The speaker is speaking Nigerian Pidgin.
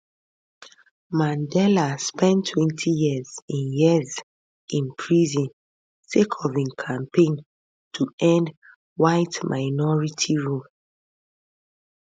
mandela spend 27 years in years in prison sake of im campaign to end whiteminority rule